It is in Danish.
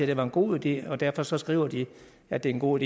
det var en god idé og derfor så skriver de at det er en god